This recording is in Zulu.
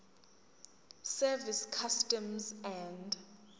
service customs and